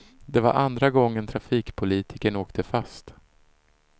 Det var andra gången trafikpolitikern åkte fast.